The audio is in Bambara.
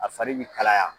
A fari bi kalaya